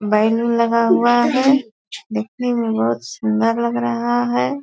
बैंगन लगा हुआ है देखने मे बहुत सुंदर लग रहा है ।